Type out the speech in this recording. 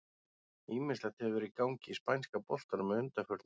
Ýmislegt hefur verið í gangi í spænska boltanum að undanförnu.